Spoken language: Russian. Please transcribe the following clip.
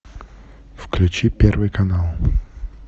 включи первый канал